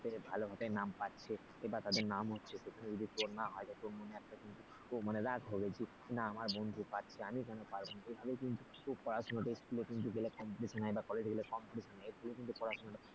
এটা ভালো ভাবে ভাবে নাম পাচ্ছে বা তাদের নাম হচ্ছে আমি যদি তোর নাম না হয় পাচ্ছে মনে একটা কিন্তু রাগ হবে আমার বন্ধু পাচ্ছে আমি কেন পারব না পড়াশোনাটা school গেলে competition না college গেলে competition হয়,